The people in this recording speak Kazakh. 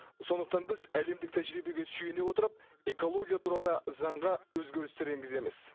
сондықтан біз әлемдік тәжірибеге сүйене отырып экология туралы заңға өзгерістер енгіземіз